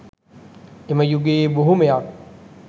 එම යුගයේ බොහොමයක්